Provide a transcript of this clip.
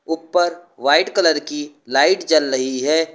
ऊपर white colour की light जल रही है।